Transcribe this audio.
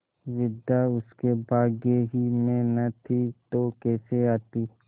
विद्या उसके भाग्य ही में न थी तो कैसे आती